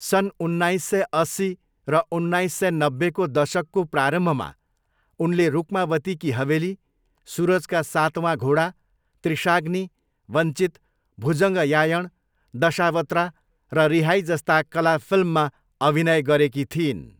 सन् उन्नाइस सय अस्सी र उन्नाइस सय नब्बेको दशकको प्रारम्भमा उनले रुक्मावती की हवेली, सुरज का सातवाँ घोडा, त्रिशाग्नी, वञ्चित, भुजङ्गयायण, दशावत्रा र रिहाई जस्ता कला फिल्ममा अभिनय गरेकी थिइन्।